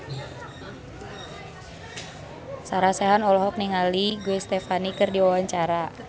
Sarah Sechan olohok ningali Gwen Stefani keur diwawancara